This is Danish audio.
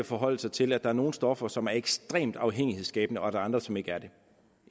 forholde sig til at der er nogle stoffer som er ekstremt afhængighedsskabende og der er andre som ikke er det